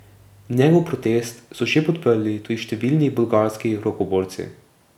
Njegov protest so že podprli tudi številni bolgarski rokoborci.